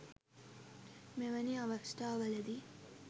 මෙවැනි අවස්ථාවල දී